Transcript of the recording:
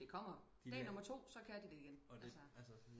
Det kommer dag nummer 2 så kan de det igen